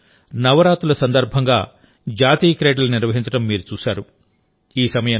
గుజరాత్లో నవరాత్రుల సందర్భంగా జాతీయ క్రీడలు నిర్వహించడం మీరు చూశారు